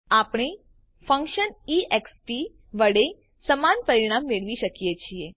આપણે function E X પ વડે સમાન પરિણામ મેળવી શકીએ છીએ